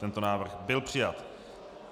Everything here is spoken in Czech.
Tento návrh byl přijat.